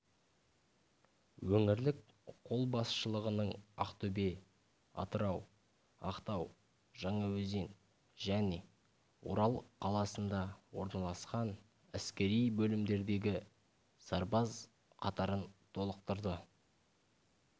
өңірлік қолбасшылығының ақтөбе атырау ақтау жаңаөзен және орал қаласында орналасқан әскери бөлімдердегі сарбаз қатарын толықтырды